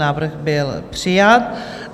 Návrh byl přijat.